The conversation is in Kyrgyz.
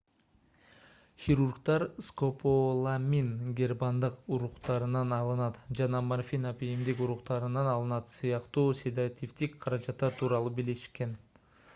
хирургдар скополамин гербандын уруктарынан алынат жана морфин апийимдин уруктарынан алынат сыяктуу седативдик каражаттар тууралуу билишкен